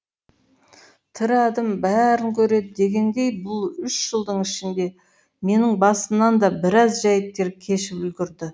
тірі адам бәрін көреді дегендей бұл үш жылдың ішінде менің басымнан да біраз жәйттер кешіп үлгірді